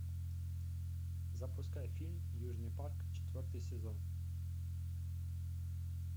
запускай фильм южный парк четвертый сезон